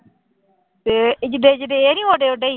ਤੇ ਜਿੱਡੇ ਜਿੱਡੇ ਇਹ ਨੀ ਓਡੇ ਓਡੇ ਹੀ।